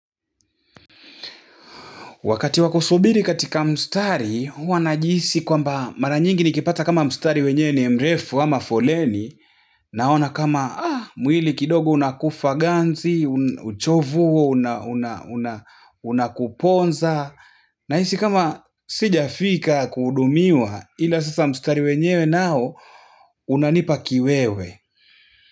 Wakati wakusubiri katika mstari, huwa najihisi kwamba mara nyingi nikipata kama mstari wenyewe ni mrefu ama foleni, naona kama, ah, mwili kidogo unakufa ganzi, uchovu huo un unakuponza, nahisi kama sijafika kuhudumiwa, ila sasa mstari wenyewe nao, unanipa kiwewe.